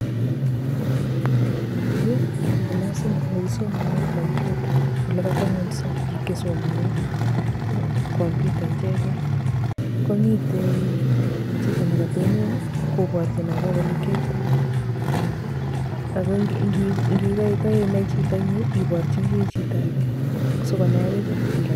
Yu ko clasit nekisomane komputa ole katomngonyso biik chesomane komputa ichegei komite chito ne katonon koborchin ageole kioitoi agotkoinai chito inye iborchini chitoage sikonai akichek biik alake.